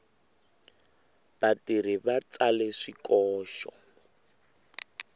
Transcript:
vatirhi va tsale swikoxo